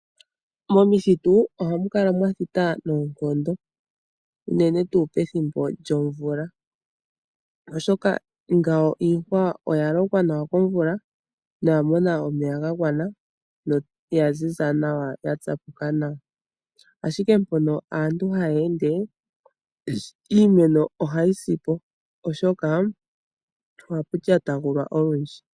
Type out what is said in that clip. Momithitu ohamu kala mwathita noonkondo unene tuu pethimbo lyomvula oshoka ngawo iihwa oya lokwa nawa komvula noya mono omeya ga gwana, noya zi za nawa yatsapuka nawa. Ashike mpono aantu haya ende iimeno ohayi si po oshoka ohapu lyatagulwa olwindji.